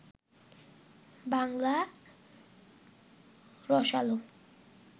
বাংলা রসালো